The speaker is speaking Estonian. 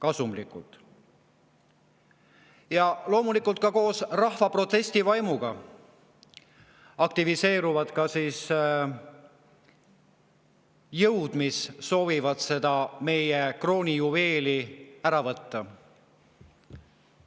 Aga loomulikult on koos rahva protestivaimuga aktiviseerunud ka jõud, kes soovivad seda meie kroonijuveeli ära võtta.